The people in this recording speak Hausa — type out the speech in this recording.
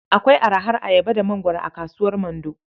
Akwai arahar ayaba da mangwaro a kasuwar Mando.